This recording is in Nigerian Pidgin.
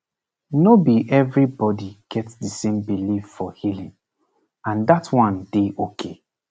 no be everybody get the same belief for healing and that one dey okay